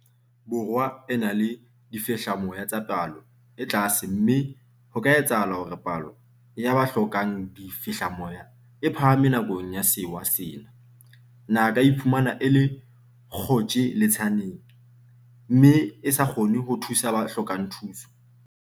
Borwa e na le difehlamoya tsa palo e tlase mme ha ho ka etsahala hore palo ya ba hlokang difehlamoya e phahame nakong ya sewa sena, naha e ka iphumana e le kgotjhe-letsaneng mme e sa kgone ho thusa ba hlokang thuso.